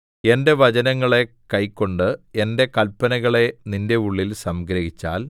എന്റെ വചനങ്ങളെ കൈക്കൊണ്ട് എന്റെ കല്പനകളെ നിന്റെ ഉള്ളിൽ സംഗ്രഹിച്ചാൽ